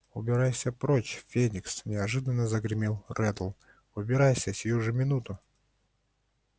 убирайся прочь феникс неожиданно загремел реддл убирайся сию же минуту